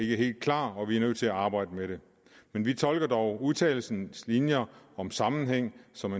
ikke helt klar og vi er nødt til at arbejde med det men vi tolker dog udtalelsens linjer om sammenhæng som